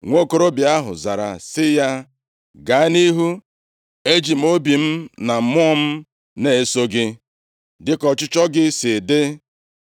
Nwokorobịa ahụ zara sị ya, “Gaa nʼihu, eji m obi m na mmụọ m na-eso gị dịka ọchịchọ gị si dị.”